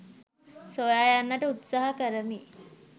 සොයා යන්නට උත්සාහ කරමි